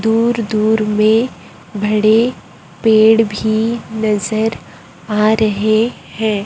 दूर- दूर में बड़े पेड़ भी नजर आ रहे हैं।